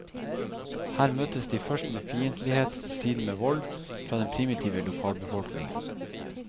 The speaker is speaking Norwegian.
Her møtes de først med fiendtlighet, siden med vold, fra den primitive lokalbefolkningen.